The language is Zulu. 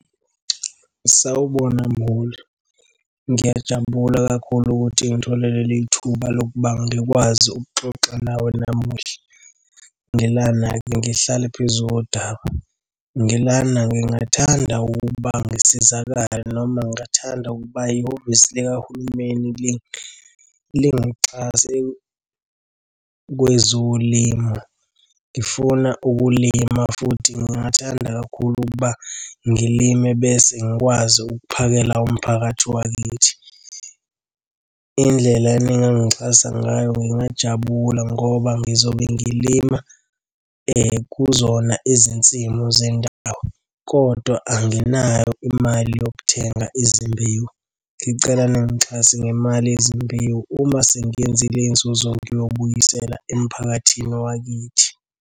Sawubona mholi. Ngiyajabula kakhulu ukuthi ngithole leli thuba lokuba ngikwazi ukuxoxa nawe namuhla. Ngilana-ke ngihlale phezu kodaba. Ngilana ngingathanda ukuba ngisizakale noma ngingathanda ukuba ihhovisi likahulumeni lingixhase kwezolimo. Ngifuna ukulima, futhi ngingathanda kakhulu ukuba ngilime bese ngikwazi ukuphakela umphakathi wakithi. Indlela eningangixhasa ngayo ngingajabula ngoba ngizobe ngilima kuzona izinsimu zendawo, kodwa anginayo imali yokuthenga izimbewu. Ngicela ningixhase ngemali yezimbewu, uma sengiyenzile inzuzo ngiyobuyisela emphakathini wakithi.